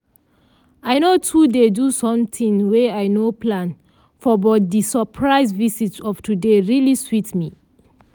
i no too dey do something wey i nor plan for but di surprise visit of today really sweet me.